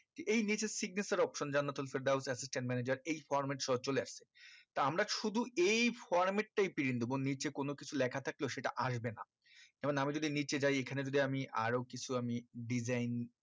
এই নিচের signature option যান নাতুল ফেরদাউস assistant manager এই format সহ চলে আসছে তা আমরা শুধু এই format টাই print দিবো নিচে কোনো কিছু লেখা থাকলো সেটা আসবে না এখন আমি যদি নিচে যাই এইখানে যদি আমি আরো কিছু আমি design